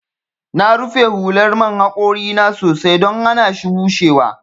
Na rufe hular man haƙori na sosai don hanashi bushewa.